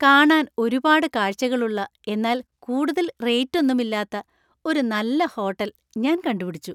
കാണാൻ ഒരുപാട് കാഴ്ചകൾ ഉള്ള എന്നാൽ കൂടുതൽ റേറ്റ് ഒന്നുമില്ലാത്ത ഒരു നല്ല ഹോട്ടൽ ഞാൻ കണ്ടുപിടിച്ചു.